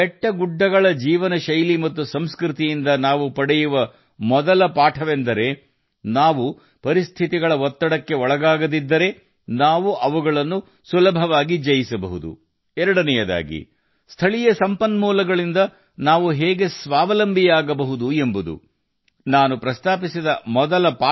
ಮಲೆನಾಡಿನ ಜೀವನಶೈಲಿ ಮತ್ತು ಸಂಸ್ಕೃತಿಯಿಂದ ನಾವು ಪಡೆಯುವ ಮೊದಲ ಪಾಠವೆಂದರೆ ನಾವು ಪರಿಸ್ಥಿತಿಗಳ ಒತ್ತಡಕ್ಕೆ ಒಳಗಾಗದಿದ್ದರೆ ನಾವು ಅವುಗಳನ್ನು ಸುಲಭವಾಗಿ ಜಯಿಸಬಹುದು ಮತ್ತು ಎರಡನೆಯದಾಗಿ ಸ್ಥಳೀಯ ಸಂಪನ್ಮೂಲಗಳೊಂದಿಗೆ ನಾವು ಹೇಗೆ ಸ್ವಾವಲಂಬಿಯಾಗಬಹುದು ಎಂಬುದನ್ನು ಅವರು ತಮ್ಮ ಜೀವನ ಮೂಲಕ ನಮಗೆ ಹೇಳಿಕೊಡುತ್ತಾರೆ